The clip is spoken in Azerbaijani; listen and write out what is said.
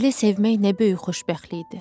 Belə sevmək nə böyük xoşbəxtlikdir!